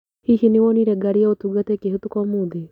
Hihi nĩwonire ngari ya ũtungata ĩkĩhetũka ũmũthĩ?